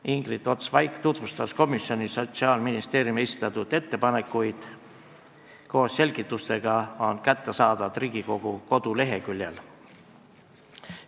Ingrid Ots-Vaik tutvustas komisjonis Sotsiaalministeeriumi esitatud ettepanekuid, koos selgitustega on need kättesaadavad Riigikogu koduleheküljel.